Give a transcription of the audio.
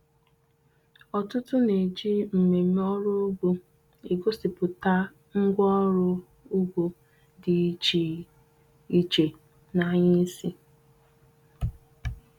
Ọtụtụ na-eji mmemme ọrụ ugbo egosipụta ngwaọrụ ugbo dị iche iche n'anya isi.